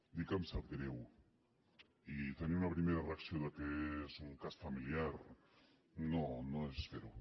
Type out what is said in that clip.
dir que em sap greu i tenir una primera reacció del fet que és un cas familiar no no és fer ho